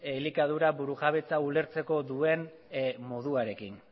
elikadura burujabetza ulertzeko duen moduarekin